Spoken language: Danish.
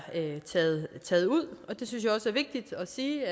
taget ud det synes jeg også er vigtigt at sige